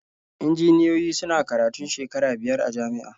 Injiniyoyi suna karatun shekaru biyar a jami'a.